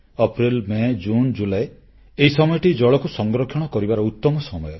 April May June July ଏଇ ସମୟଟି ଜଳକୁ ସଂରକ୍ଷଣ କରିବାର ଉତ୍ତମ ସମୟ